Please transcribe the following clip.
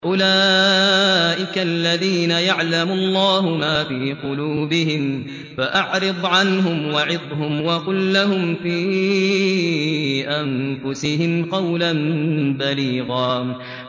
أُولَٰئِكَ الَّذِينَ يَعْلَمُ اللَّهُ مَا فِي قُلُوبِهِمْ فَأَعْرِضْ عَنْهُمْ وَعِظْهُمْ وَقُل لَّهُمْ فِي أَنفُسِهِمْ قَوْلًا بَلِيغًا